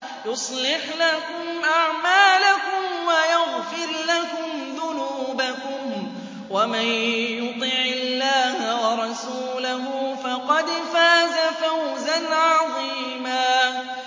يُصْلِحْ لَكُمْ أَعْمَالَكُمْ وَيَغْفِرْ لَكُمْ ذُنُوبَكُمْ ۗ وَمَن يُطِعِ اللَّهَ وَرَسُولَهُ فَقَدْ فَازَ فَوْزًا عَظِيمًا